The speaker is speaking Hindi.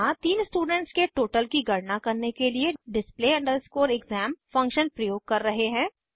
यहाँ तीन स्टूडेंट्स के टोटल की गणना करने के लिए display exam फंक्शन प्रयोग कर रहे हैं